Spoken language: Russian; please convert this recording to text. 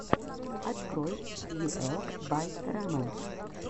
открой фьюэлд бай рамэн